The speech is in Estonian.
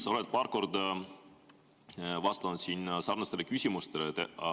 Sa oled paar korda vastanud siin sarnastele küsimustele.